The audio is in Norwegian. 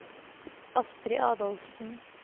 Astri Adolfsen